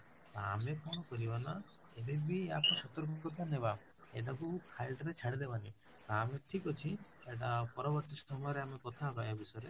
ତ ଆମେ କଣ କରିବା ନା ଏବେ ବି ଆମେ ସତର୍କତା ନେବା ଏଟାକୁ ଖାଲିଟାରେ ଛାଡିଦବନି ତ ଆମେ ଠିକ ଅଛି ଏଇଟା ପରବର୍ତୀ ସମୟ ରେ ଆମେ କଥା ହବ ୟା ବିଷୟରେ